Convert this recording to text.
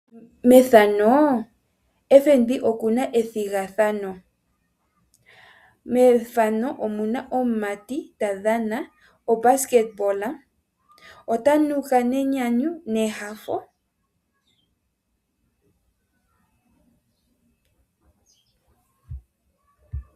Methano ombanga yotango yopashigwana oyina ethigathano, methano omuna omumati ta dhana obasketball. Ota nuka nenyanyu